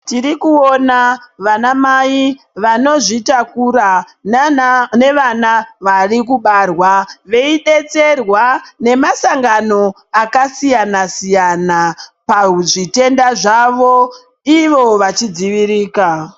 Tirikuona vanamai vanozvitakura nana nevana varibarwa veubetserwa nemasangano akasiyana-siyana pazvitenda zvavo ivo vachidzivirika.